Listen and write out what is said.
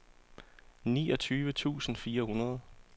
niogtyve tusind fire hundrede